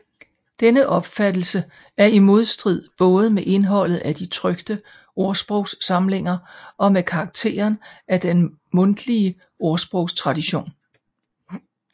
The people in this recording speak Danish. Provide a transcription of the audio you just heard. Denne opfattelse er i modstrid både med indholdet af de trykte ordsprogssamlinger og med karakteren af den mundtlige ordsprogstradition